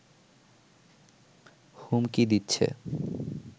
হুমকি দিচ্ছে